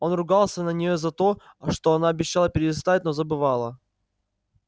он ругался на неё за это она обещала перестать но забывала